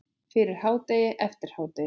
Fyrir hádegi, eftir hádegi.